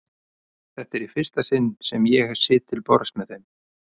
Þetta er í fyrsta sinn sem ég sit til borðs með þeim.